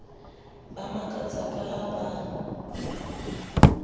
ba makatsa ka ha ba